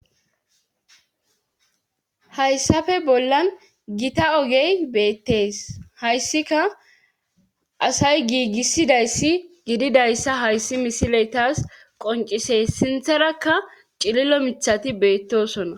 hayssafe bollan gita ogey beettees hayssika asay giigissidayssi gididayssa hayssi misiletas qoncises sintharakka cilillo micthati beettosona